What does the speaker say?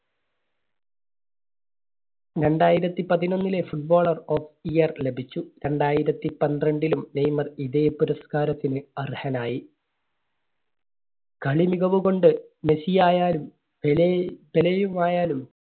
രണ്ടായിരത്തി പതിനൊന്നിലെ Footballer of Year ലഭിച്ചു. രണ്ടായിരത്തി പന്ത്രണ്ടിലും നെയ്‌മർ ഇതേ പുരസ്‌കാരത്തിന് അർഹനായി. കളി മികവുകൊണ്ട് മെസ്സി ആയാലും പെലെയ്, പെലെയും ആയാലും